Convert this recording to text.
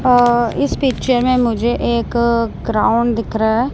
अ इस पिक्चर में मुझे एक ग्राउंड दिख रहा है।